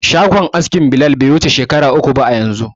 Shagon askin Bilal bai wuce shekara uku ba yanzu.